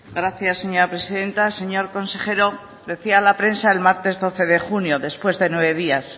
gracias señora presidenta señor consejero decía la prensa el martes doce de junio después de nueve días